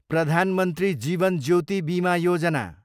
Pradhan Mantri Jeevan Jyoti Bima Yojana